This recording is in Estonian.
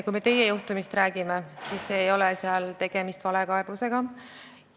Kui me teie juhtumist räägime, siis selle puhul ei ole tegemist valekaebusega.